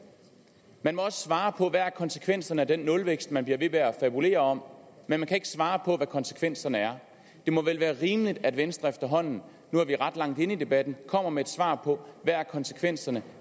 men og at svare på hvad konsekvenserne er af den nulvækst man bliver ved med at fabulere om men man kan ikke svare på hvad konsekvenserne er det må vel være rimeligt at venstre efterhånden nu er vi ret langt henne i debatten kommer med et svar på hvad konsekvenserne